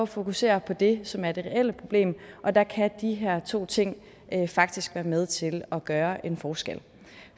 fokusere på det som er det reelle problem og der kan de her to ting faktisk være med til at gøre en forskel